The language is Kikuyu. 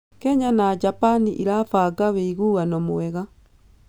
Kenya na Japan ĩrabanga wĩiguano mwega.